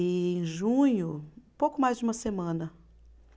E em junho, pouco mais de uma semana.